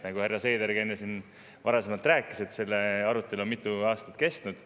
Nagu härra Seedergi enne siin rääkis, see arutelu on mitu aastat kestnud.